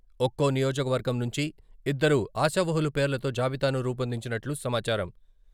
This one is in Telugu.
ఒక్కో నియోజకవర్గం నుంచి ఇద్దరు ఆశావహుల పేర్లతో జాబితాను రూపొందించినట్లు సమాచారం.